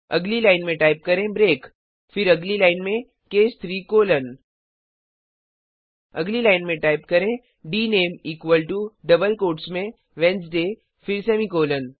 अगली लाइन में टाइप करें ब्रेक फिर अगली लाइन में केस 3 कोलोन अगली लाइन में टाइप करें dname equal to double quotes में वेडनेसडे फिर सेमीकॉलन